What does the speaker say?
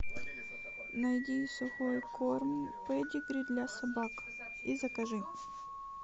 найди сухой корм педигри для собак и закажи